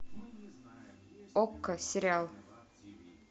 окко сериал